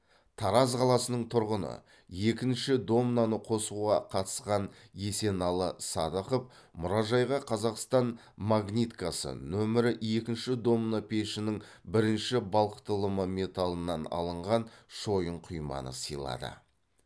тараз қаласының тұрғыны екінші домнаны қосуға қатысқан есеналы садықов мұражайға қазақстан магниткасы нөмірі екінші домна пешінің бірінші балқытылымы металынан алынған шойын құйманы сыйлады